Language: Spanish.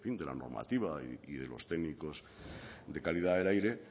de la normativa y de los técnicos de calidad del aire